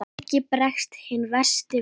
Helgi bregst hinn versti við.